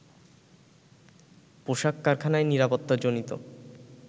পোশাক কারখানায় নিরাপত্তাজনিত